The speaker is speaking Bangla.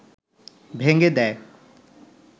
ভেঙ্গে দেয়